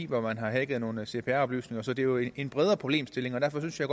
hvor man har hacket nogle cpr oplysninger så det er jo en bredere problemstilling og derfor synes jeg